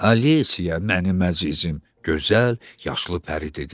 Alisiya, mənim əzizim, gözəl, yaşlı pəri dedi.